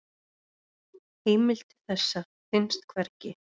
Heimild til þessa finnst hvergi.